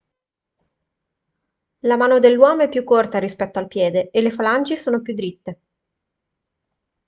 la mano dell'uomo è più corta rispetto al piede e le falangi sono più diritte